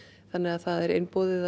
þannig að það er einboðið að